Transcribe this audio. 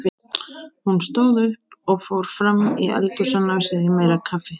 Hún stóð upp og fór fram í eldhús að ná sér í meira kaffi.